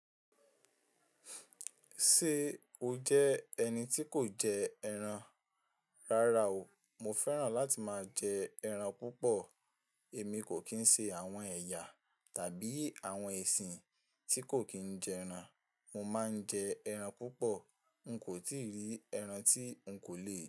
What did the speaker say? Ṣe o jẹ ẹni tí kò jẹ ẹran? Rara o, mo fẹ́ràn láti máa jẹ ẹran púpọ̀. Èmi kò kín ṣe àwọn ẹyà tàbí àwọn ẹṣin tí kò kí n jẹ ẹran. Mo máa ń jẹ ẹran púpọ̀. N kò tíì rí ẹran tí n kò lè.